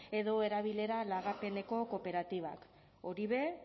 edo erabilera lagapeneko kooperatibak hori be